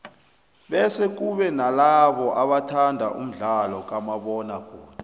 bese kube nalabo abathanda umdlalo kamabona kude